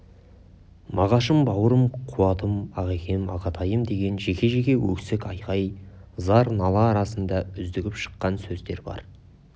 мағашым бауырым қуатым ағекем ағатайым деген жеке-жеке өксік айғай зар-нала арасында үздігіп шыққан сөздер бар